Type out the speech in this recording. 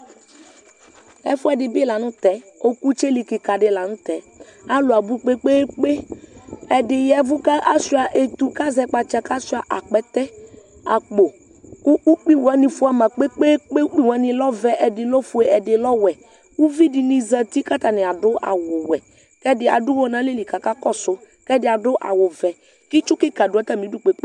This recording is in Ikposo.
Ɛfuɛdi bi la nu tɛ ɔkutsɛli kika di la nu tɛ alu abu kpekpekpe ɛdini yavu kashua etu kashua akpɛtɛ akpo ku ukpi wani fuama ukpi fuama kpekpe kpekpe ɛdi lɛ ofue ɛdi lɛ ɔvɛ ɛdi lɛ ɔwɛ uvidini zati katani adu awu wɛ kɛdi adu uwɔ nalɛli akakɔsu kɛdi adu awu vɛ ku itsu kika du atamidu kpekpe kpe